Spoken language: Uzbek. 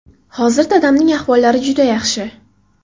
Hozir dadamning ahvollari juda yaxshi.